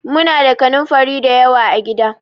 Muna da kanunfari da yawa a gida.